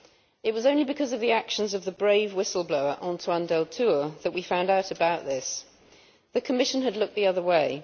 It was only because of the actions of the brave whistleblower Antoine Deltour that we found out about this. The Commission had looked the other way.